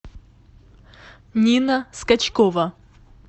нина скачкова